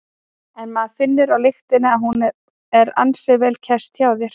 En maður finnur á lyktinni að hún er ansi vel kæst hjá þér?